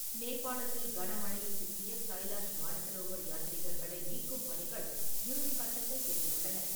நேபாளத்தில் கனமழையில் சிக்கிய கைலாஷ் மானசரோவர் யாத்திரிகர்களை மீட்கும் பணிகள் இறுதி கட்டத்தை எட்டி உள்ளன.